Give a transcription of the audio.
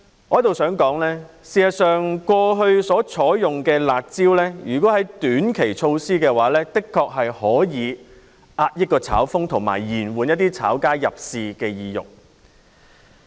我在此想指出，如果過去所採用的"辣招"是短期措施的話，的確可以遏抑"炒風"，以及延緩一些"炒家"的入市意欲。